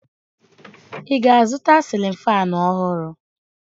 Ị ga-azụta sịlịn faanụ ọhụrụ?